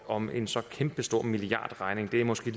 om en så kæmpestor milliardregning måske